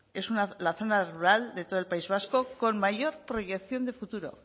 es la zona rural de todo el país vasco con mayor proyección de futuro